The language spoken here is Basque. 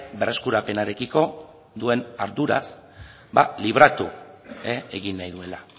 berreskurapenarekiko duen arduraz ba libratu egin nahi duela